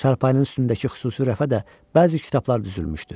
Çarpayının üstündəki xüsusi rəfə də bəzi kitablar düzülmüşdü.